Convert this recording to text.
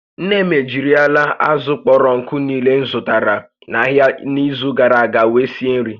Nne m ejirila azụ̀ kpọrọ nkụ niile m zụtara n'ahịa n'izu gara aga were sie nri